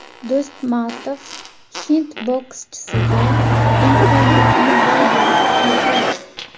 Do‘stmatov hind bokschisiga imkoniyatni boy berib qo‘ydi.